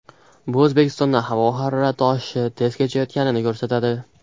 Bu O‘zbekistonda havo harorati oshishi tez kechayotganini ko‘rsatadi.